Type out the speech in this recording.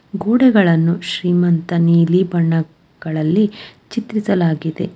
ಗೋಡೆಗಳನ್ನು ಶ್ರೀಮಂತ ನೀಲಿ ಬಣ್ಣಗಳಲ್ಲಿ ಚಿತ್ರಿಸಲಾಗಿದೆ.